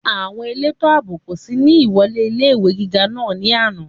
Àwọn elétò àbò kò sí ní ìwọlé ilé-ìwé gíga náà ní àná